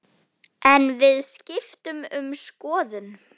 En við skiptum um skoðun.